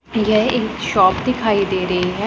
यह एक शॉप दिखाई दे रही है।